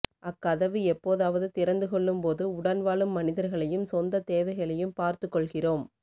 அக்கதவு எப்போதாவது திறந்து கொள்ளும்போது உடன்வாழும் மனிதர்களையும் சொந்த தேவைகளையும் பார்த்து கொள்கிறோம்